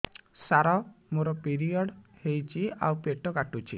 ସାର ମୋର ପିରିଅଡ଼ ହେଇଚି ଆଉ ପେଟ କାଟୁଛି